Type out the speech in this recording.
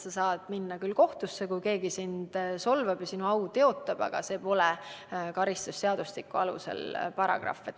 Sa saad minna kohtusse, kui keegi sind solvab ja sinu au teotab, aga see pole enam karistusseadustiku paragrahv.